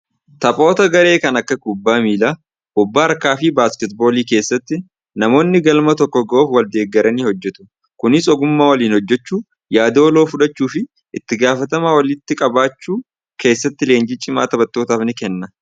Taphoota garee kanneen akka kubbaa miilaa, kubbaa harkaa fi baasketti boolii keessatti namoonni galma tokko gahuuf wal deegaranii hojjetu. Kunis ogummaa waliin hojjechuu yaada waloo fudhachuu fi itti gaafatamummaa walitti qabaachuun leenjii cimaa taphattootaaf ni kenna.